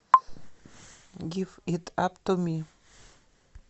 гив ит ап ту ми